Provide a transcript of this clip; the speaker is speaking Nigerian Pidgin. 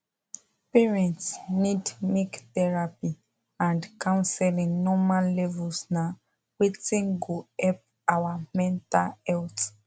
parents need make therapy and counseling normal levels na wetin go help our mental health